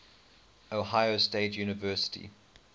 ohio state university